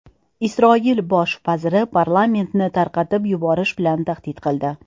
Isroil bosh vaziri parlamentni tarqatib yuborish bilan tahdid qildi.